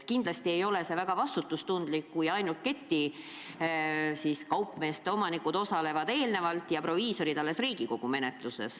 See ei ole väga vastutustundlik, kui töörühmas osalevad ainult ketiapteekide omanikud ja proviisorid kaasatakse alles Riigikogu menetlusse.